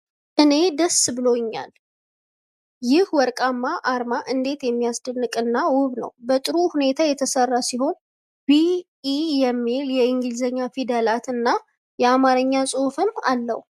እኔ ደስ ብሎኛል! ይህ ወርቃማ አርማ እንዴት የሚያስደንቅ እና ውብ ነው! በጥሩ ሁኔታ የተሰራ ሲሆን 'ቢኢ' የሚል የእንግሊዝኛ ፊደላትና የአማርኛ ጽሑፍም አለው!